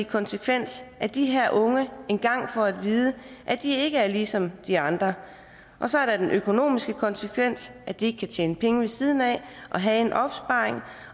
konsekvens af at de her unge engang har fået at vide at de ikke er ligesom de andre og så er der den økonomiske konsekvens af at de ikke kan tjene penge ved siden af og have en opsparing